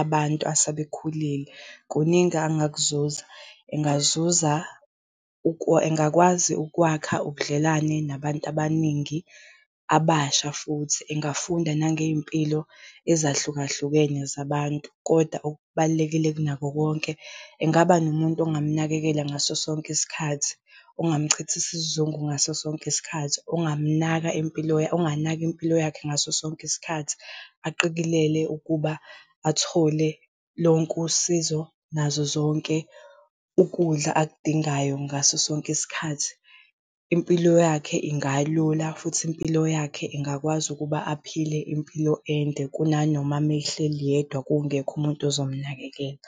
abantu asebekhulile, kuningi angakuzuza. Engazuza engakwazi ukwakha ubudlelwane nabantu abaningi, abasha futhi engafunda nangey'mpilo ezahlukahlukene zabantu. Kodwa okubalulekile kunakho konke, engaba nomuntu ongamnakekela ngaso sonke isikhathi, ongamchithisa isizungu ngaso sonke isikhathi, ongamnaka impilo onganaka impilo yakhe ngaso sonke isikhathi. Aqikelele ukuba athole lonke usizo nazo zonke ukudla akudingayo ngaso sonke isikhathi. Impilo yakhe ingalula futhi impilo yakhe ingakwazi ukuba aphile impilo ende kunanoma uma ehleli yedwa kungekho umuntu ozomnakekela.